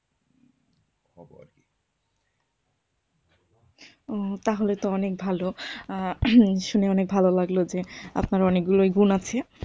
ওঃ তাহলে তো অনেক ভালো, শুনে অনেক ভালো লাগলো যে আপনার অনেক গুলোই গুণ আছে।